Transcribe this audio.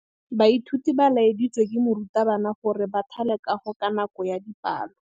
Baithuti ba laeditswe ke morutabana gore ba thale kagô ka nako ya dipalô.